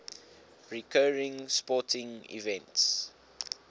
recurring sporting events